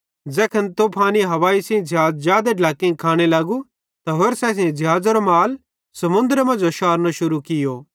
ज़ैखन तूफानी हवाई सेइं ज़िहाज़ जादे ढ्लैक्कां खाने लगू त होरसां असेईं ज़िहाज़ेरो माल समुन्द्रे मांजो शारनो शुरू कियो